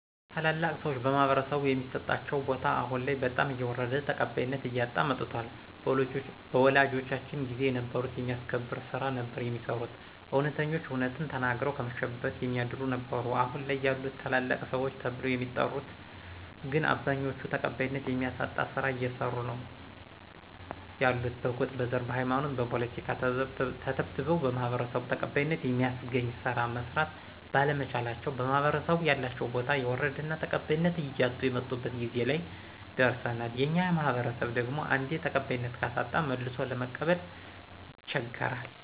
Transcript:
ታላላቅ ሰዎች በማህበረሰቡ የሚሰጣቸው ቦታ አሁን ላይ በጣም እየወረደ ተቀባይነት እያጣ መጧል በወላጆቻችን ጊዜ የነበሩት የሚያስከብር ስራ ነበር የሚሰሩት እውነተኞች እውነትን ተናግረው ከመሸበት የሚያድሩ ነበሩ አሁን ላይ ያሉት ታላላቅ ሰዎች ተብለው የሚጠሪት ግን አብዛኛዎቹ ተቀባይነት የሚያሳጣ ስራ እየሰሩ ነው ያሉት በጎጥ: በዘር: በሃይማኖትና በፖለቲካ ተተብትበው በማህበረሰቡ ተቀባይነተ የሚያስገኝ ስራ መስራት ባለመቻላቸው በማህበረሰቡ ያላቸው ቦታ የወረደና ተቀባይነት እያጡ የመጡበት ጊዜ ላይ ደረሰናል የኛ ማህበረሰብ ደግሞ አንዴ ተቀባይነት ካሳጣ መልሶ ለመቀበል ይቸገራል።